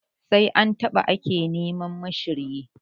Sai an ɓata ake neman ma shiryi.